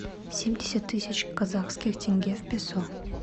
семьдесят тысяч казахских тенге в песо